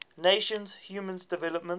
nations human development